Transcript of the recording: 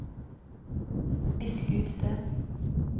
visk ut det